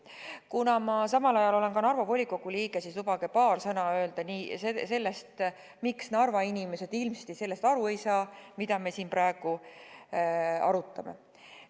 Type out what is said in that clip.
Kuna ma olen ühtlasi Narva volikogu liige, siis lubage mul öelda paar sõna selle kohta, miks Narva inimesed ilmsesti aru ei saa, mida me siin praegu arutame.